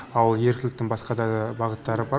ал еріктіліктің басқа да бағыттары бар